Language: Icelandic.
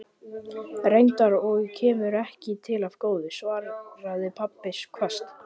Reyndar, og kemur ekki til af góðu, svaraði pabbi hvasst.